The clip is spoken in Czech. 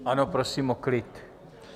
Ano, prosím o klid!